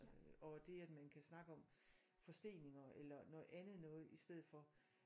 Og øh det at man kan snakke om forsteninger eller noget andet noget i stedet for